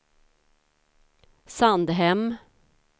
Sandhem